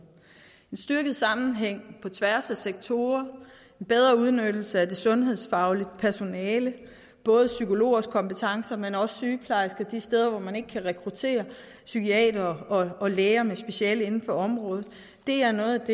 en styrket sammenhæng på tværs af sektorer bedre udnyttelse af det sundhedsfaglige personale det både psykologers kompetencer men også sygeplejerskers de steder hvor man ikke kan rekruttere psykiatere og læger med speciale inden for området er noget af